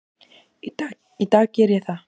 Í dag geri ég það.